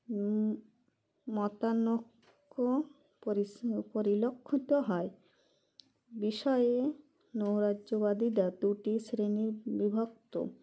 হুম মতানক্য পরিস্ম পরিলক্ষিত হয় বিষয়ে নৈরাজ্যবাদীরা দুটি শ্রেণী বিভক্ত